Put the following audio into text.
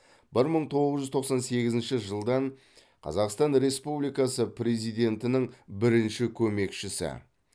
бір мың тоғыз жүз тоқсан сегізінші жылдан қазақстан республикасы президентінің бірінші көмекшісі